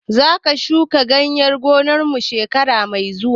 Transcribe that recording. Zamu shuka gyada a gonar mu shekara mai zuwa